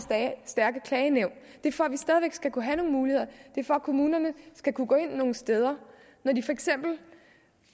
stærke klagenævn det er for at vi stadig væk skal kunne have nogle muligheder det er for at kommunerne skal kunne gå ind nogle steder